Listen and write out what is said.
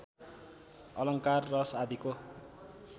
अलङ्कार रस आदिको